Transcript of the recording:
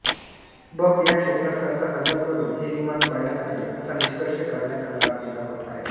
बक ह्या क्षेपणास्त्राचा हल्ला करून हे विमान पाडण्यात आले असा निष्कर्ष काढण्यात आला गेला आहे